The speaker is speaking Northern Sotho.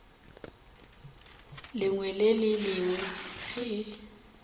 lengwe le le lengwe ge